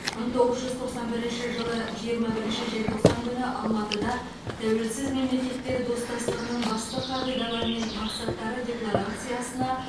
мың тоғыз жүз тоқсан бірінші жылы жиырма бірінші желтоқсан күні алматыда тәуелсіз мемлекет достастығының басты қағидалары мен мақсаттары декларациясына